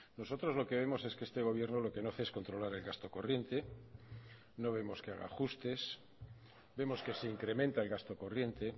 nosotros lo que vemos es que este gobierno lo que no hace es controlar el gasto corriente no vemos que haga ajustes vemos que se incrementa el gasto corriente